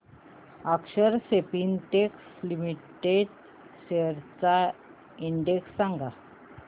अक्षर Spintex limited shares चा index सांगा